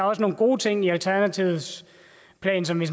også nogle gode ting i alternativets plan som vi